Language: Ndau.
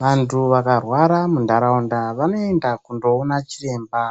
Vantu vakarwara munharaunda vanoenda kundoona chiremba